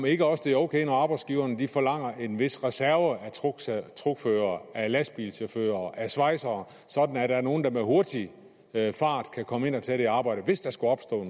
ikke også er ok når arbejdsgiverne forlanger en vis reserve af truckførere af lastbilchauffører af svejsere sådan at der er nogen der hurtigt og i en fart kan komme ind og tage det arbejde hvis der skulle opstå